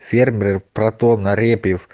фермер протон репьёв